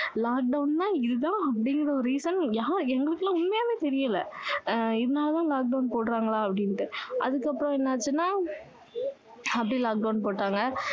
lockdown னா இதுதான் அப்படிங்கற ஒரு reason யாரு~எங்களுக்குலாம் உண்மையாவே தெரியல ஆஹ் இதனாலதான் lockdown போடுறாங்களா அப்படின்னுட்டு அதுக்கு அப்பறம் என்ன ஆச்சுன்னா அப்படியே lockdown போட்டாங்க